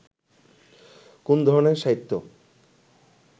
কোন ধরনের সাহিত্য